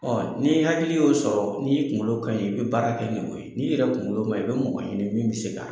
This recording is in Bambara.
Ɔ n'i hakili y'o sɔrɔ n'i kunkolo ka ɲi , i bɛ baara kɛ n'o ye , n'i yɛrɛ kunkolo ma ni, i bɛ mɔgɔ ɲini min bɛ se ka